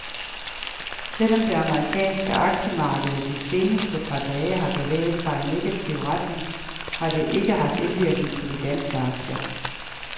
Selvom det amerikanske aktiemarked de seneste par dage har bevæget sig i negativ retning, har det ikke haft indvirkning på de danske aktier.